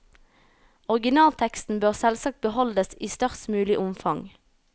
Originalteksten bør selvsagt beholdes i størst mulig omfang.